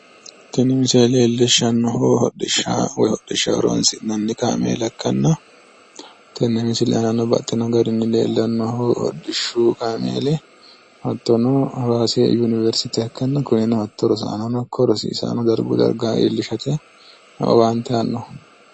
Tini misile leellishshannohu hodhishsha woyi hodhishshaho horoonsi'nanni kaameela ikkanna tenne misile aanano baxxino garinni leellannohu hodhishshu kaameeli hattono hawaasi yuniveristeha ikkanna kunino hatto rosaanono ikko rosiisaano darguyi darga iillishate owaante aannoho.